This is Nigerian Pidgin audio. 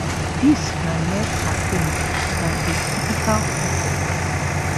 dis na less caffeine dan a typical cup of coffee